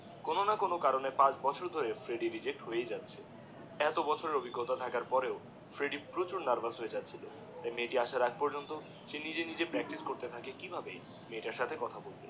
কোনো না কোনো কারণে পাঁচ বছর ধরে ফ্রেডিডিএ রিজেক্ট হয়েই যাচ্ছে এত বছরের ওপিগটা থাকার পরেও ফ্রেডিডিএ প্রচুর নার্ভাস হয়েই যাচ্ছে যে মেয়েটার আসার আগে পর্যন্ত সে নিজে নিজে প্রাকটিস করতে থাকে যে কি ভাব মেয়েটার সাথে কথা বলবে